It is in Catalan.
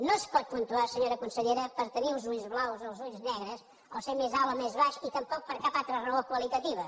no es pot puntuar senyora consellera per tenir els ulls blaus o els ulls negres o ser més alt o més baix i tampoc per cap altra raó qualitativa